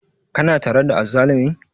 Kana tare da azzalumin?